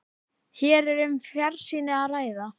Hér er um fjarsýni að ræða.